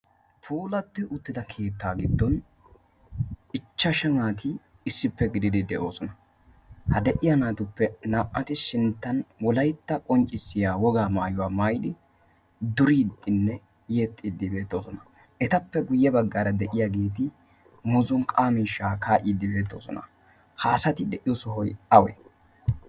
pulatti uttida keettaa giddon ichchashu naati issippe gidiidi de7oosona. ha de7iya naatuppe naa77ati sinttan wolaitta qonccissiya wogaa maayuwaa maayidi duriiddinne yexxiiddi beettoosona. etappe guyye baggaara de7iya geeti muzunqqaamishaa kaa7iiddi beettoosona haasati de7iyo sohoi auri?